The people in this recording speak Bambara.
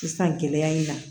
Sisan gɛlɛya in na